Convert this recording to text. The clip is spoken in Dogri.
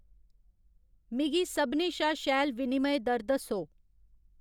मिगी सभनें शा शैल विनिमय दर दस्सो